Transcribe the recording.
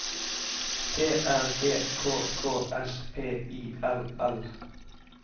T R E K K S P I L L